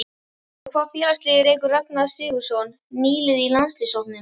Með hvaða félagsliði leikur Ragnar Sigurðsson, nýliði í landsliðshópnum?